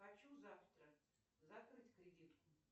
хочу завтра закрыть кредит